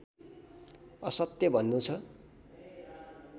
असत्य भन्नु छ